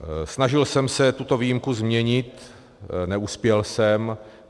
Snažil jsem se tuto výjimku změnit, neuspěl jsem.